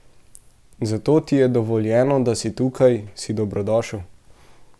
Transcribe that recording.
Zato ti je dovoljeno, da si tukaj, si dobrodošel.